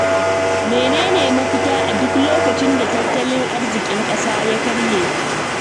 Mene ne mafita a duk lokacin da tattalin arzikin ƙasa ya karye?